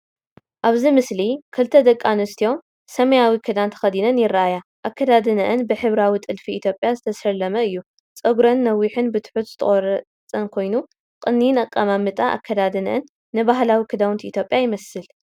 ኣብዚ ምስሊ ክልተ ደቂ ኣንስትዮ ሰማያዊ ክዳን ተኸዲነን ይርኣያ። ኣከዳድናኦም ብሕብራዊ ጥልፊ ኢትዮጵያ ዝተሰለመ እዩ። ጸጉሮን ነዊሕን ብትሑት ዝተቐርጸን እዩ። ቅዲን ኣቀማምጣን ኣከዳድነአንን ንባህላዊ ክዳውንቲ ኢትዮጵያ ይመስል።